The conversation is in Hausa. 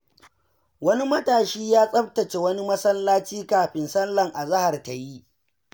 Wani matashi ya tsabtace wani masallaci kafin sallar azahar ta yi.